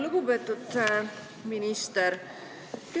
Lugupeetud minister!